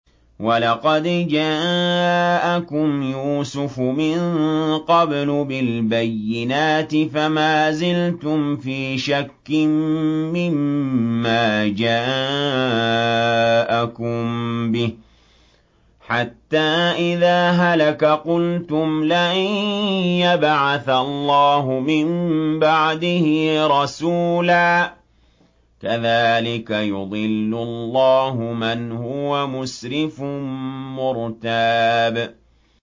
وَلَقَدْ جَاءَكُمْ يُوسُفُ مِن قَبْلُ بِالْبَيِّنَاتِ فَمَا زِلْتُمْ فِي شَكٍّ مِّمَّا جَاءَكُم بِهِ ۖ حَتَّىٰ إِذَا هَلَكَ قُلْتُمْ لَن يَبْعَثَ اللَّهُ مِن بَعْدِهِ رَسُولًا ۚ كَذَٰلِكَ يُضِلُّ اللَّهُ مَنْ هُوَ مُسْرِفٌ مُّرْتَابٌ